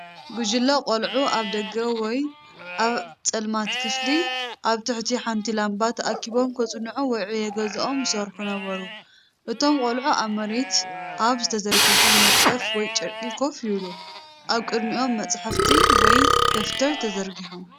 ጕጅለ ቈልዑ ኣብ ደገ ወይ ኣብ ጸልማት ክፍሊ ኣብ ትሕቲ ሓንቲ ላምባ ተኣኪቦም ከጽንዑ ወይ ዕዮ ገዝኦም ይሰርሑ ነበሩ። እቶም ቆልዑ ኣብ መሬት ኣብ ዝተዘርግሐ መንጸፍ ወይ ጨርቂ ኮፍ ይብሉ፣ ኣብ ቅድሚኦም መጽሓፍቲ ወይ ደፍተር ተዘርጊሖም።